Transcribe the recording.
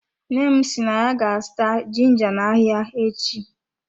Nne m si na ya ga-azụta ginga na ahịa echi.